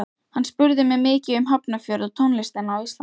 Hann spurði mig mikið um Hafnarfjörð og tónlistina á Íslandi.